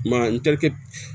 Ma n terikɛ